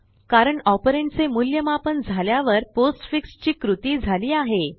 कारणoperand चे मूल्यमापन झाल्यावर पोस्टफिक्स ची कृती झाली आहे